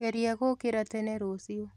Geria gũũkĩra tene rũciũ